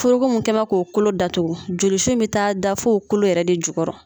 Foroko mun kɛnbɛ k'o kolo datugu jolisu in bɛ taa da f'o kolo yɛrɛ de jukɔrɔ.